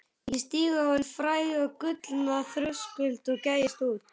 Ég stíg á hinn fræga gullna þröskuld og gægist út.